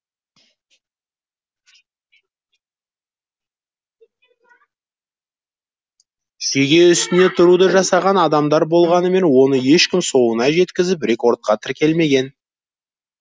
шеге үстіне тұруды жасаған адамдар болғанымен оны ешкім соңына жеткізіп рекордқа тіркелмеген